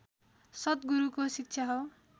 सतगुरूको शिक्षा हो